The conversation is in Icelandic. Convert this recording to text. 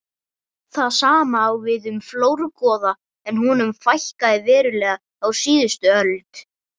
Það sama á við um flórgoða en honum fækkaði verulega á síðustu öld.